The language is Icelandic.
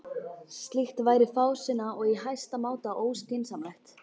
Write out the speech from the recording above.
Slíkt væri fásinna og í hæsta máta óskynsamlegt.